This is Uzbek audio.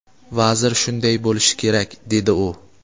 Vazir shunday bo‘lishi kerak, dedi u.